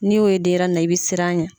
N'i y'o ye denyɛrɛnin na, i be siran a ɲɛ.